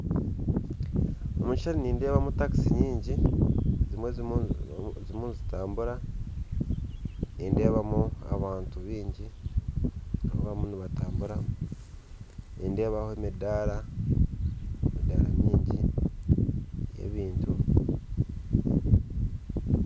Omu maisho nindeebamu takisi nyingi ezimwe ziriyo nizitambura nindeebamu abantu baingi abariyo nibatambura nindeebaho emidaara emidaara mingi y'ebintu